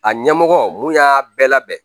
A ɲɛmɔgɔ mun y'a bɛɛ labɛn